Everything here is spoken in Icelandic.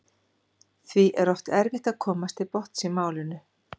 Því er oft erfitt að komast til botns í málinu.